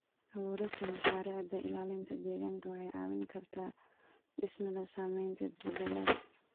Abuurista mashaariicda ilaalinta deegaanka waxay caawin kartaa dhimista saameynta isbeddelada.